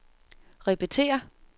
repetér